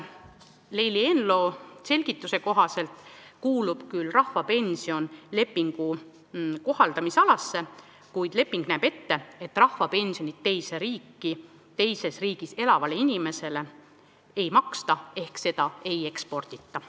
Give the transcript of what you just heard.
Leili Eenlo selgituse kohaselt kuulub rahvapension lepingu kohaldamise alasse, kuid leping näeb ette, et rahvapensioni teise riiki, teises riigis elavale inimesele ei maksta ehk seda ei ekspordita.